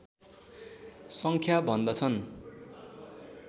सङ्ख्या भन्दछन्